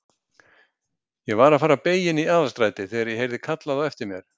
Ég var að fara að beygja inn Aðalstrætið þegar ég heyrði kallað á eftir mér.